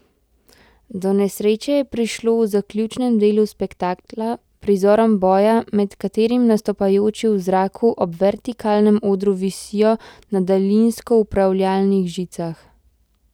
Do nesreče je prišlo v zaključnem delu spektakla, prizorom boja, med katerim nastopajoči v zraku ob vertikalnem odru visijo na daljinsko upravljanih žicah.